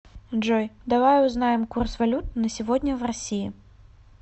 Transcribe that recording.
джой давай узнаем курс валют на сегодня в россии